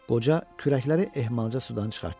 Qoca kürəkləri ehmalca sudan çıxartdı.